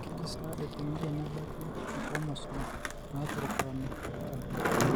Kaji sa eikoni tenebaki inchromosome naapurupurana tikitam?